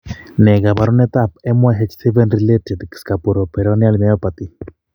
Ne kaabarunetap MYH7 related scapuloperoneal myopathy?